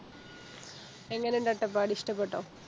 എങ്ങനെണ്ട് അട്ടപ്പാടി ഇഷ്ട്ടപ്പെട്ടോ